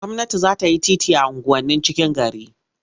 Gwamnati za ta yi titi a unguwannin cikin gari.